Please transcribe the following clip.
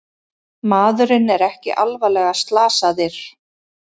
Maðurinn er ekki alvarlega slasaðir